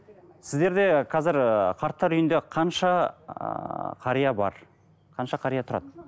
сіздерде қазір ы қарттар үйінде қанша ыыы қария бар қанша қария тұрады